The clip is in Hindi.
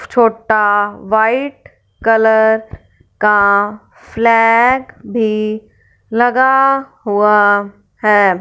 छोटा व्हाइट कलर का फ्लैग भी लगा हुआ है।